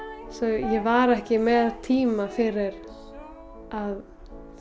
ég var ekki með tíma fyrir að